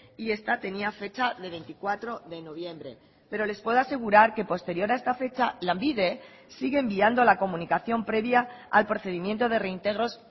y esta tenía fecha de veinticuatro de noviembre pero les puedo asegurar que posterior a esta fecha lanbide sigue enviando la comunicación previa al procedimiento de reintegros